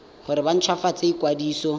gore ba nt hwafatse ikwadiso